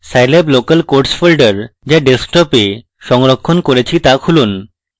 scilab local codes folder যা ডেস্কটপে সংরক্ষণ করেছি তা খুলুন